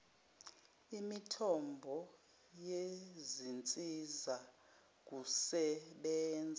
imithombo yezinsiza kusebenza